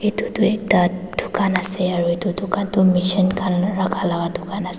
etu tu ekta dukan ase aro etu dukan tu machine kan raka laka dukan ase.